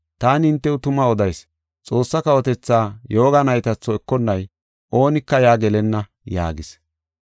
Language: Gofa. Taani hintew tuma odayis; Xoossa kawotetha yooga naytatho ekonnay oonika yaa gelenna” yaagis.